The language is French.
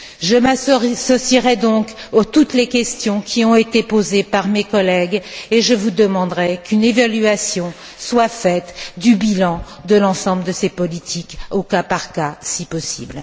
Je m'associerai donc à toutes les questions qui ont été posées par mes collègues et je vous demanderai de veiller à ce qu'une évaluation soit faite du bilan de l'ensemble de ces politiques au cas par cas, si possible.